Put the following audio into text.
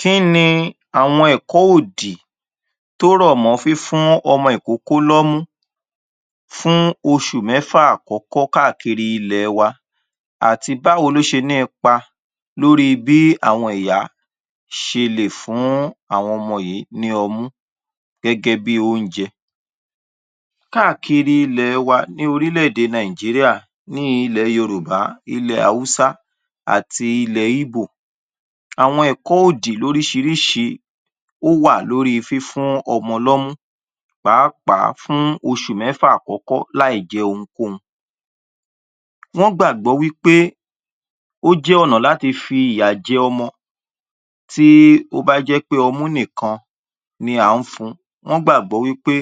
Kí ni àwọn ẹ̀kọ́ òdì tó rọ̀ mọ́ fífún ọmọ ìkókó lọ́mú fún oṣù mẹ́fà àkọ́kọ́ káàkiri ilẹ̀ wa àti báwo ló ṣe ní ipa lórí bí àwọn ìyá ṣe lè fún àwọn ọmọ yìí ní ọmú gẹ́gẹ́ bí oúnjẹ? Káàkiri ilẹ̀ wa ní orílẹ̀-èdè Nàìjíríà ní ilẹ̀ Yorùbá, ilẹ̀ Haúsá, àti ilẹ̀ Ibo. Àwọn ẹ̀kọ́ òdì lóríṣiríṣi ó wà lórí fífún ọmọ lọ́mú pàápàá fún oṣù mẹ́fà àkọ́kọ́ láìjẹ ohunkóhun. Wọ́n gbàgbọ́ wí pé, ó jẹ́ ọ̀nà láti fi ìyà jẹ ọmọ tí ó bá jẹ́ pé ọmú nìkan ni à ń fun. Wọ́n gbàgbọ́ wí pé